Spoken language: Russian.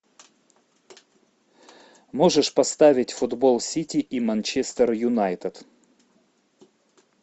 можешь поставить футбол сити и манчестер юнайтед